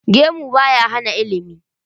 Gemu ba ya hana ilimi.